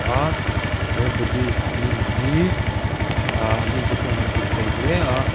a he budhhist lim hi ah mite chuan an hlut thei hle a.